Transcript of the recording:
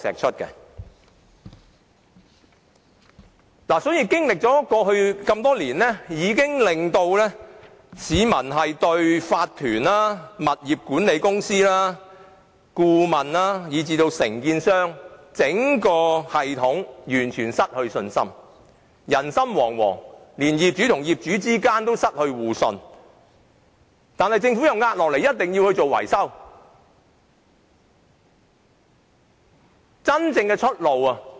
所以，過去多年出現的圍標問題，已令市民對業主立案法團、物業管理公司、顧問以至承建商整個系統完全失去信心，人心惶惶，連業主與業主之間也失去互信，政府卻又施壓一定要他們進行維修。